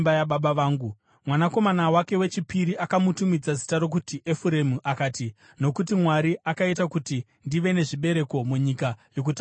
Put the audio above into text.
Mwanakomana wake wechipiri akamutumidza zita rokuti Efuremu akati, “Nokuti Mwari akaita kuti ndive nezvibereko munyika yokutambudzika kwangu.”